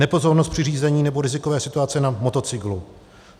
Nepozornost při řízení nebo rizikové situace na motocyklu.